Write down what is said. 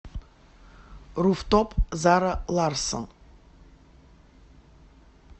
руфтоп зара ларссон